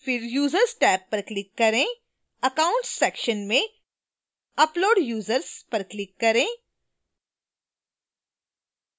फिर users tab पर click करें accounts section में upload users पर click करें